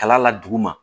Kala la duguma